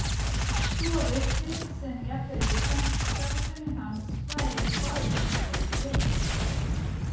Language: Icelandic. svo virtist sem jafnvel líkamsstarfsemi hans væri nú orðin eins og í geit.